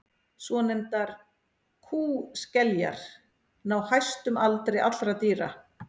svonefndar kúskeljar ná hæstum aldri allra dýra